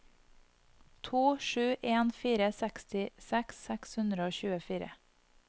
to sju en fire sekstiseks seks hundre og tjuefire